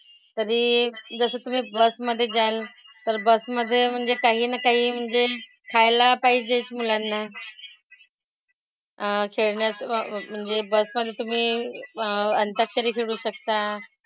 तरी जसं तुम्ही bus मधे जाल तर bus मधे काही ना काही म्हणजे खायला पाहिजेच मुलांना . अह खेळण्याचं वा म्हणजे bus मधे तुम्ही अह अंताक्षरी खेळू शकता.